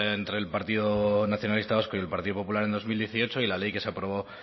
entre el partido nacionalista vasco y el partido popular en dos mil dieciocho y la ley que se aprobó